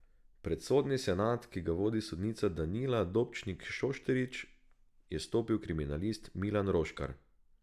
Pred sodni senat, ki ga vodi sodnica Danila Dobčnik Šošterič, je stopil kriminalist Milan Roškar.